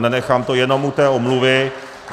A nenechám to jenom u té omluvy.